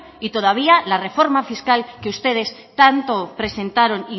y todavía la reforma fiscal que ustedes tanto presentaron